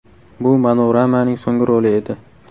Bu Manoramaning so‘nggi roli edi.